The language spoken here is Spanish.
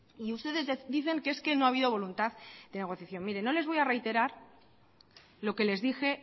y ustedes dicen que es que no ha habido voluntad de negociación mire no les voy a reiterar lo que les dije